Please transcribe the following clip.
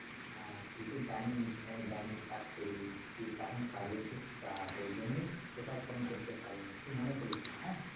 হ্যাঁ তুই তো জানিস আমি ব্যাংকে চাকরি করি এখন কাজের খুব চাপ ওই জন্যি তোকে আর ফোন করতে পরিনি তুই কিছু মনে করিস না হ্যা